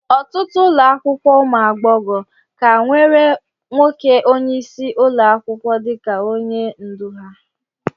Ọtụtụ ụlọ akwụkwọ ụmụ agbọghọ ka nwere nwoke onyeisi ụlọ akwụkwọ dịka onye ndu ha